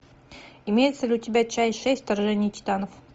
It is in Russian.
имеется ли у тебя часть шесть вторжение титанов